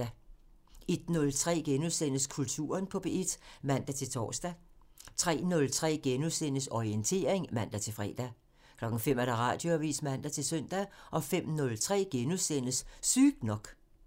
01:03: Kulturen på P1 *(man-tor) 03:03: Orientering *(man-fre) 05:00: Radioavisen (man-søn) 05:03: Sygt nok *(man)